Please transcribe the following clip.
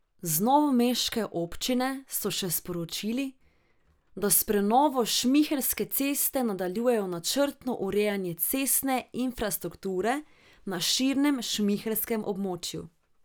Z novomeške občine so še sporočili, da s prenovo Šmihelske ceste nadaljujejo načrtno urejanje cestne infrastrukture na širšem šmihelskem območju.